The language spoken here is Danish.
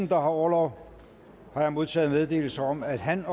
der har orlov har jeg modtaget meddelelse om at han